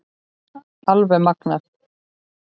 Alveg magnað!